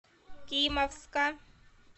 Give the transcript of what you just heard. кимовска